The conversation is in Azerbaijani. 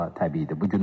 Bu da təbiidir.